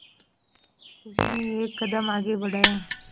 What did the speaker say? उसने एक कदम आगे बढ़ाया